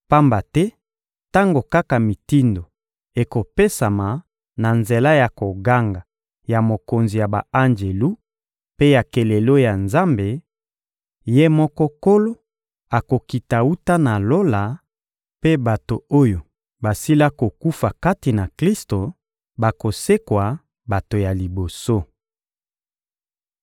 pamba te tango kaka mitindo ekopesama na nzela ya koganga ya mokonzi ya ba-anjelu mpe ya kelelo ya Nzambe, Ye moko Nkolo akokita wuta na Lola mpe bato oyo basila kokufa kati na Klisto bakosekwa bato ya liboso.